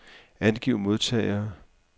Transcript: Angiv modtagere.